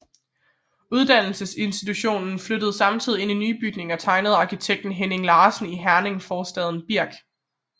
Uddannelsesinstitutionen flyttede samtidig ind i nye bygninger tegnet af arkitekten Henning Larsen i Herning forstaden Birk